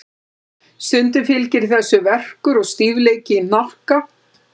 Stundum fylgir þessu verkur og stífleiki í hnakka.